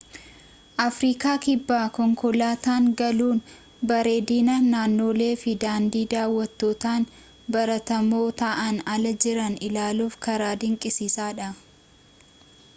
afriikaa kibbaa konkoolaataan galuun bareedina naannolee fi daandii daawwattootaan baratamoo ta'an ala jiran ilaaluuf karaa dinqisiisaa dha